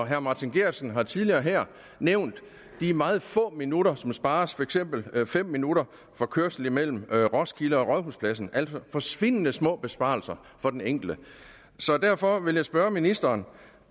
herre martin geertsen har tidligere her nævnt de meget få minutter som spares for eksempel fem minutter for kørsel mellem roskilde og rådhuspladsen altså forsvindende små besparelser for den enkelte så derfor vil jeg spørge ministeren